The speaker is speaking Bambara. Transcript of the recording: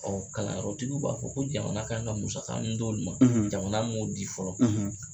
Ɔɔ kalanyɔrɔtigiw b'a fɔ ko jamana ka kan ka musaka mun d'olu ma , jamana m'o di fɔlɔ.